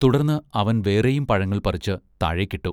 തുടർന്ന് അവൻ വേറെയും പഴങ്ങൾ പറിച്ചുതാഴേക്കിട്ടു.